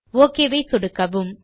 okay ஐ சொடுக்கவும்